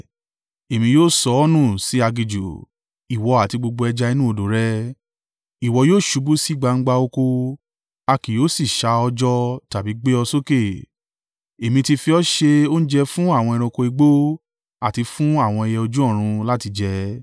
Èmi yóò sọ ọ́ nù sí aginjù ìwọ àti gbogbo ẹja inú odò rẹ: ìwọ yóò ṣubú sí gbangba oko a kì yóò sì ṣà ọ́ jọ tàbí gbé ọ sókè. Èmi ti fi ọ ṣe oúnjẹ fún àwọn ẹranko igbó àti fún àwọn ẹyẹ ojú ọ̀run láti jẹ.